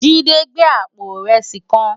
Jide n gbé àpó irèsí kán